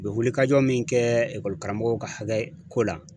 U bɛ wulikajɔ min kɛ ekɔli karamɔgɔw ka hakɛ ko la